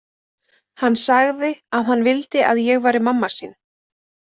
Hann sagði að hann vildi að ég væri mamma sín.